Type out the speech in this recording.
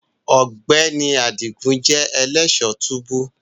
Ọgbẹni Adigun jẹ elẹṣọ tubu